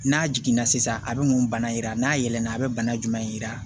N'a jiginna sisan a bɛ mun bana yira n'a yɛlɛma a bɛ bana jumɛn yira